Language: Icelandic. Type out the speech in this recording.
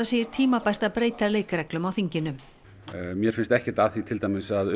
segir tímabært að breyta leikreglum á þinginu mér finnst ekkert að því til dæmis að